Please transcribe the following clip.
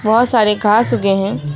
बहुत सारे घास उगे हैं।